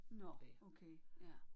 Nåh okay ja